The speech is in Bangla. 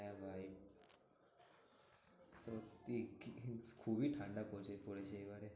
হ্যাঁ ভাই সত্যি কি খুবই ঠান্ডা পড়েছে পড়েছে এবারে।